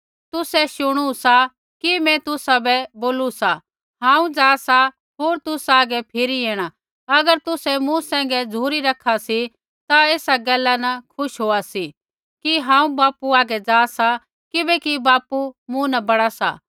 तुसै शुणु सा कि मैं तुसाबै बोलू सा हांऊँ जा सा होर तुसा आगै फिरी ऐणा अगर तुसै मूँ सैंघै झ़ुरी रखा सी ता ऐसा गैला न खुश होआ सी कि हांऊँ बापू हागै जा सा किबैकि बापू मूँ न बड़ा सा